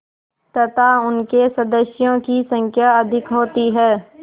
तथा उनके सदस्यों की संख्या अधिक होती है